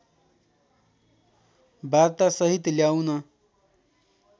वार्ता सहित ल्याउन